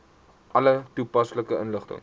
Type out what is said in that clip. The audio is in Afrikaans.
alle toepaslike inligting